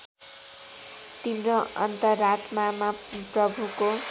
तिम्रो अन्तरात्मामा प्रभुको